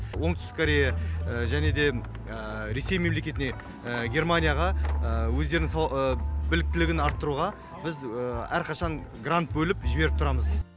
оңтүстік корея және де ресей мемлекетіне германияға өздерінің біліктілігін арттыруға біз әрқашан грант бөліп жіберіп тұрамыз